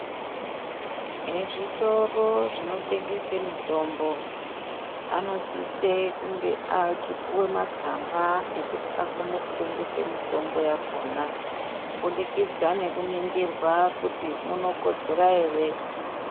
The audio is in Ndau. Ezvitoro zvinotengeswe mitombo anosise kunge achipuwa matsamba ekuti akone kutengesa mitombo yakona kubudikidza ngekuningirwa kwekuti munokodzera ere.